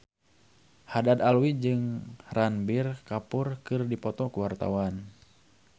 Haddad Alwi jeung Ranbir Kapoor keur dipoto ku wartawan